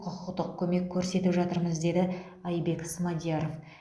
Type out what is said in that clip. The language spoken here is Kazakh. құқықтық көмек көрсетіп жатырмыз деді айбек смадияров